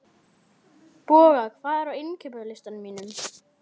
Boga, hvað er á innkaupalistanum mínum?